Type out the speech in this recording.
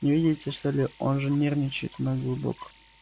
не видите что ли он же нервничает мой голубок